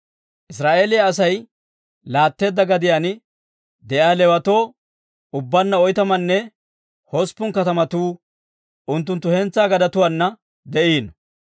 Israa'eeliyaa Asay laatteedda gadiyaan de'iyaa Leewatoo ubbaanna oytamanne hosppun katamatuu unttunttu hentsaa gadetuwaana de'iino.